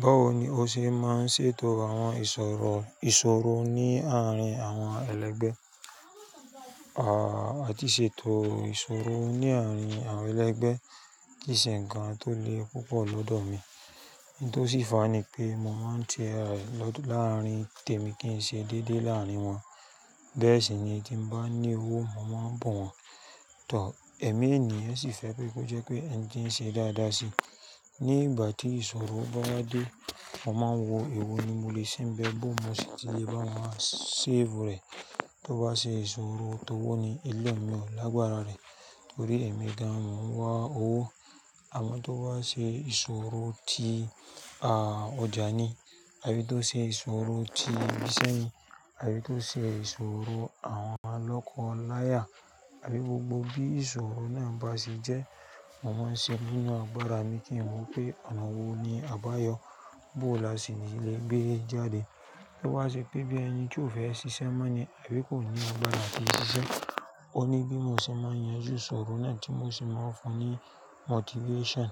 Báwo ni o ṣe máa ń ṣètò àwọn ìṣòro, ìṣòro ní àárín àwọn ẹlẹgbẹ́? À, àti ṣètò ìṣòro ní àárín àwọn ẹlẹgbẹ́ kì í ṣe ǹkan tó le púpọ̀ lọ́dọ̀ mi. Ní tó sì fa ni pé mo máa ń tẹ ìrẹ̀ lọ́dọ̀ láàrín tèmi kí n ṣe dédé láàrin wọn. Bẹ́ẹ̀ sì ni tí mo bá ní owó, mo máa ń bù wọ́n. Ẹ̀mí ènìyàn sì fẹ́ pé kó jẹ́ pé ẹni tí ń ṣe dáadáa sí i. Ni ìgbà tí ìṣòro bá dé, mo máa ń wo ìwọ ni mo lè ṣe bẹ́ẹ̀ bó mo sì ti lè bá wọn ṣe save rẹ̀. Tó bá ṣe ìṣòro tó wọ ní ilé mi ò lágbára rẹ̀ torí ẹ̀mi gan an mo ń wá owó. Àmọ́ tó bá ṣe ìṣòro ti, à, ọjà ni àbí tó ṣe ìṣòro ti ibi iṣẹ́ ni àbí tó ṣe ìṣòro àwọn olọ́kọ láya àbí gbogbo bí ìṣòro náà bá ṣe jẹ́, mo máa ń ṣe búwọ́n agbára mi kí n mọ pé ọ̀nà wo ni àbáyọ̀ bó là sí ní lè gbé e jáde. Tó bá ṣe pé bí ẹni tí ò fẹ́ ṣiṣẹ́ mọ́ ni àbí kò ní agbára láti ṣiṣẹ́. Ó ní bí mo ṣe máa ń yanju ìṣòro náà tí mo sì máa ń fún un ní motivation.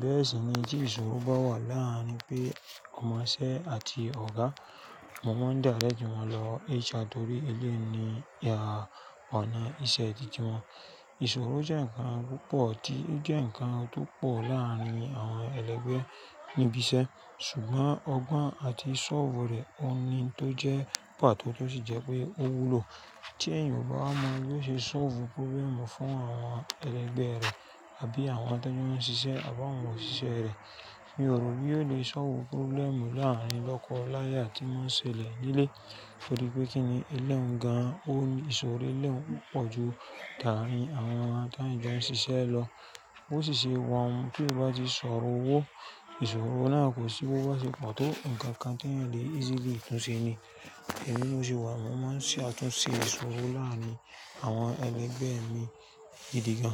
Bẹ́ẹ̀ sì ni tí ìṣòro bá wà láàrin pé ọmọṣẹ́ àti ọ̀gá, mo máa ń dà á lẹ́jù wọn lọ HR torí eléeni, à, ọ̀nà ìṣe tìtì wọn. Ìṣòro jẹ́ ǹkan púpọ̀ tí jẹ́ ǹkan tó pọ̀ láàrin àwọn ẹlẹgbẹ́ níbi iṣẹ́ ṣùgbọ́n ọgbọ́n àti sólvù rẹ̀ ó ni tó jẹ́ pàtó tó sì jẹ́ pé ó wúlò. Tí èèyàn bá mọ bí ó ṣe sólvù problem fún àwọn ẹlẹgbẹ́ rẹ̀ àbí àwọn tó jẹ́ wọ́n ń ṣiṣẹ́ àbá àwọn òṣìṣẹ́ rẹ̀. Mi ò rò pé yóò lè sólvù problem láàrin olọ́kọ láya tí wọ́n ń ṣe lè nílé. Torí pé kí ni ẹlẹ́wọ̀n gan an, ó ní ìṣòro ẹlẹ́wọ̀n pọ̀ ju tà á rìn àwọn ẹni tí wọ́n ń ṣiṣẹ́ lọ. Ó sì ṣe wọ́n tí kò bá ti sọ̀rọ̀ owó. Ìṣòro náà kò sì gbọ́gbọ́ ṣe pàtó ǹkan kan tí ẹ̀ lè easily tún ṣe ni. Ẹ̀mí ló ṣe wà, mo máa ń ṣe àtúnṣe ìṣòro láàrin àwọn ẹlẹgbẹ́ mi gidi gan.